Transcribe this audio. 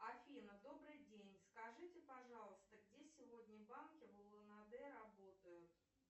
афина добрый день скажите пожалуйста где сегодня банки в улан удэ работают